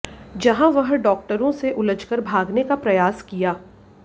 जहां वह डॉक्टरों से उलझकर भागने का प्रयास किया